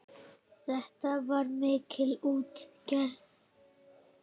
Þetta var mikil útgerð.